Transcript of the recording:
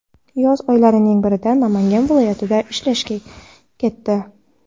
yoz oylarining birida Namangan viloyatiga ishlashga ketdi.